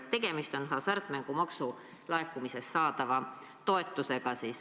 Tegemist on hasartmängumaksu laekumisest saadava toetusega.